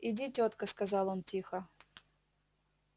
иди тётка сказал он тихо